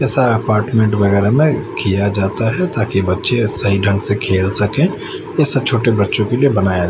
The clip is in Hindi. जैसा अपार्टमेंट वगैरह में किया जाता है ताकि बच्चे सही ढंग से खेल सकें इसे छोटे बच्चों के लिए बनाया--